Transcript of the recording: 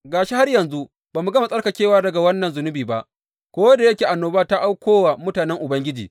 Ga shi, har yanzu ba mu gama tsarkakewa daga wannan zunubi ba, ko da yake annoba ta auko wa mutanen Ubangiji!